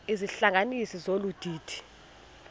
izihlanganisi zolu didi